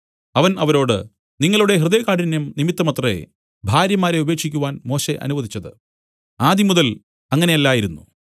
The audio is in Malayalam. അവൻ അവരോട് നിങ്ങളുടെ ഹൃദയകാഠിന്യം നിമിത്തമത്രേ ഭാര്യമാരെ ഉപേക്ഷിക്കുവാൻ മോശെ അനുവദിച്ചത് ആദിമുതൽ അങ്ങനെയല്ലായിരുന്നു